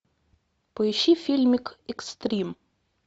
поищи фильмик экстрим